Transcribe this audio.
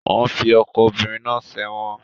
Wọ́n fi ọkọ obìnrin náà sẹ́wọ̀n